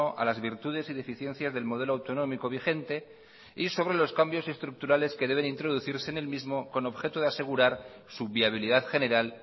a las virtudes y deficiencias del modelo autonómico vigente y sobre los cambios estructurales que deben introducirse en el mismo con objeto de asegurar su viabilidad general